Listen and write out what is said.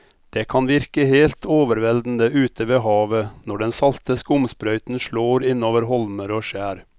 Det kan virke helt overveldende ute ved havet når den salte skumsprøyten slår innover holmer og skjær.